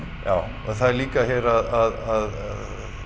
já það er líka segir að